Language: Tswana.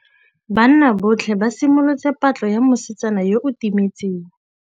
Banna botlhê ba simolotse patlô ya mosetsana yo o timetseng.